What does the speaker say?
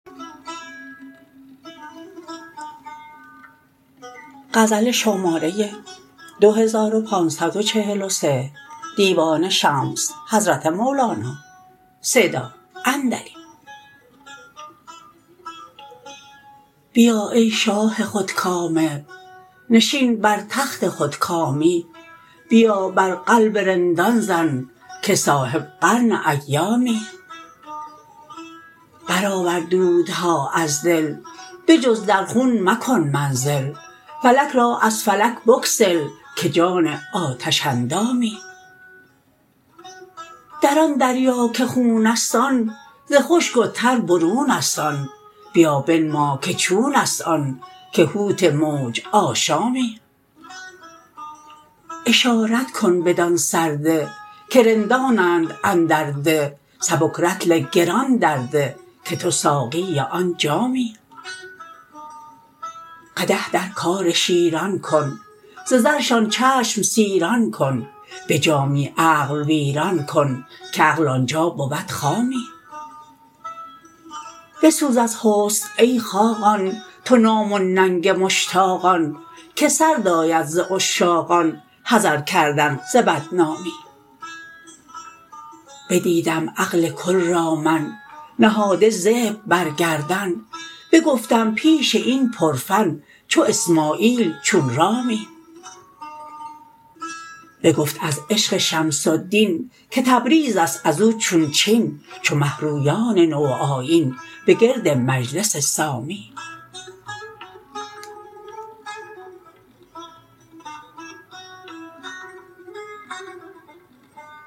بیا ای شاه خودکامه نشین بر تخت خودکامی بیا بر قلب رندان زن که صاحب قرن ایامی برآور دودها از دل به جز در خون مکن منزل فلک را از فلک بگسل که جان آتش اندامی در آن دریا که خون است آن ز خشک و تر برون است آن بیا بنما که چون است آن که حوت موج آشامی اشارت کن بدان سرده که رندانند اندر ده سبک رطل گران درده که تو ساقی آن جامی قدح در کار شیران کن ز زرشان چشم سیران کن به جامی عقل ویران کن که عقل آن جا بود خامی بسوز از حسن ای خاقان تو نام و ننگ مشتاقان که سرد آید ز عشاقان حذر کردن ز بدنامی بدیدم عقل کل را من نهاده ذبح بر گردن بگفتم پیش این پرفن چو اسماعیل چون رامی بگفت از عشق شمس الدین که تبریز است از او چون چین چو مه رویان نوآیین به گرد مجلس سامی